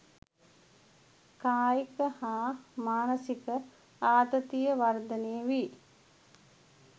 කායික හා මානසික ආතතිය වර්ධනය වී